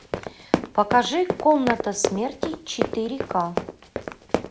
покажи комната смерти четыре ка